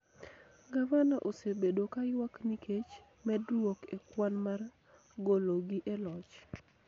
Gavana osebedo ka ywak nikech medruok e kwan mar gologi e loch